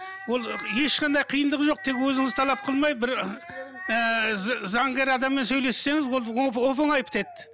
ол ешқандай қиындығы жоқ тек өзіңіз талап қылмай бір ііі заңгер адаммен сөйлессеңіз ол оп оңай бітеді